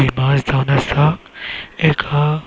हि मार्ज जावन आसा एक आहा.